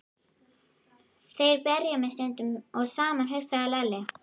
Þeir berja mig sundur og saman, hugsaði Lalli.